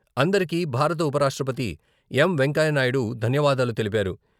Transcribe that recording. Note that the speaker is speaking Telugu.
అందరికీ భారత ఉపరాష్ట్రపతి ఎం.వెంకయ్యనాయుడు ధన్యవాదాలు తెలిపారు.